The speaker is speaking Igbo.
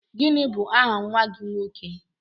Gịnị bụ aha nwa gị nwoke?